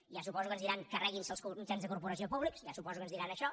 ja suposo que ens diran carreguinse els mitjans de corporació públics ja suposo que ens diran això